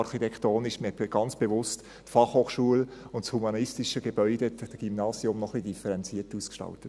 Man hat dort ganz bewusst die Fachhochschule und das humanistische Gebäude, das Gymnasium, noch etwas differenziert ausgestaltet.